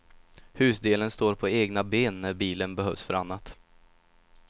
Husdelen står på egna ben när bilen behövs för annat.